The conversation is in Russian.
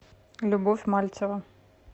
любовь мальцева